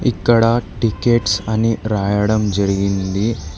ఇక్కడ టికెట్స్ అని వ్రాయడం జరిగింది.